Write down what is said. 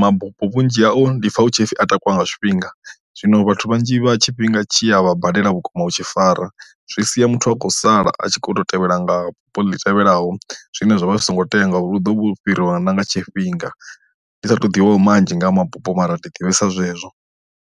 mabupo vhunzhi hao ndi pfha hutshipfi a takuwa nga tshifhinga zwino vhathu vhanzhi vha tshifhinga tshi a vha balela vhukuma u tshi fara zwi sia muthu a khou sala a tshi khou tou tevhela nga bufho ḽi tevhelaho zwine zwa vha zwi songo tea ngauri u ḓo vha o fhiriwa na nga tshifhinga ndi sato ḓivha vho manzhi nga mabupo mara ndi ḓivhesa zwezwo.